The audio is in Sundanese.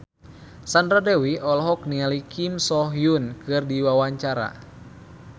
Sandra Dewi olohok ningali Kim So Hyun keur diwawancara